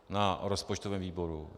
Na rozpočtovém výboru.